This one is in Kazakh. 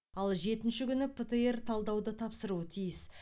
ал жетінші күні птр талдауды тапсыруы тиіс